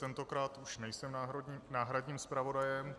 Tentokrát už nejsem náhradním zpravodajem.